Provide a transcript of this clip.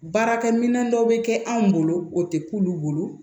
Baarakɛminɛn dɔ bɛ kɛ anw bolo o tɛ k'olu bolo